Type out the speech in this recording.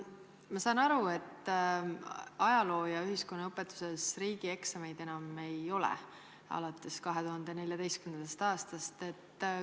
Ma saan aru, et ajaloo- ja ühiskonnaõpetuses riigieksameid alates 2014. aastast enam ei ole.